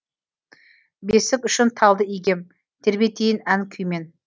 бесік үшін талды игем тербетейін ән күймен